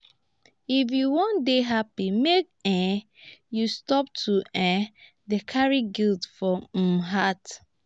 if you wan dey happy make um you stop to um dey carry guilt for um heart.